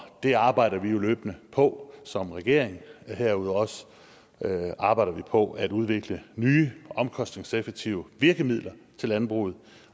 det arbejder vi jo løbende på som regering og herudover arbejder vi også på at udvikle nye og omkostningseffektive virkemidler til landbruget